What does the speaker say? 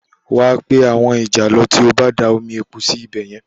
Wà a pé àwọn ìjàlọ tí ó bá da omi epo náà sí ibẹ̀ yẹn